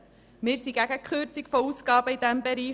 Wir sind gegen eine Kürzung der Ausgaben in diesem Bereich.